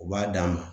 U b'a d'a ma